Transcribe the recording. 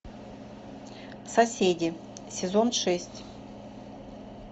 соседи сезон шесть